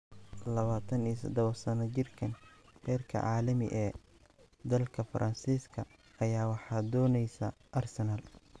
27-sano jirkaan heerka caalami ee dalka Faransiiska ayaa waxaa dooneysa Arsenal.